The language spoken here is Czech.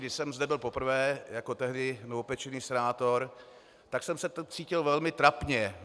Když jsem zde byl poprvé jako tehdy novopečený senátor, tak jsem se cítil velmi trapně.